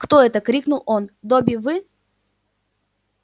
кто это крикнул он добби вы